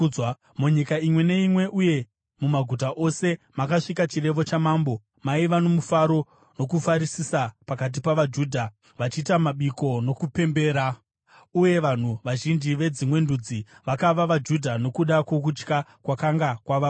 Munyika imwe neimwe, uye mumaguta ose, makasvika chirevo chamambo, maiva nomufaro nokufarisisa pakati pavaJudha, vachiita mabiko nokupembera. Uye vanhu vazhinji vedzimwe ndudzi vakava vaJudha nokuda kwokutya kwakanga kwavabata.